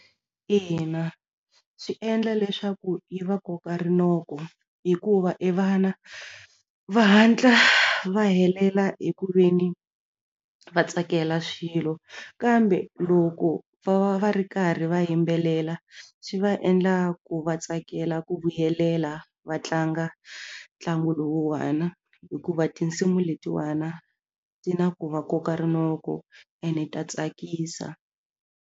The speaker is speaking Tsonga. Ina swi endla leswaku yi va koka rinoko hikuva e vana va hatla va helela hi ku ve ni va tsakela swilo kambe loko va va va ri karhi va yimbelela swi va endla ku va tsakela ku vuyelela va tlanga ntlangu lowuwana hikuva tinsimu letiwana ti na ku va koka rinoko ene ta tsakisa.